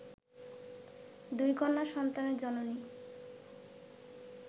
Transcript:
দুই কন্যা সন্তানের জননী